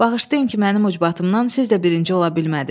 Bağışlayın ki, mənim ucbatımdan siz də birinci ola bilmədiniz.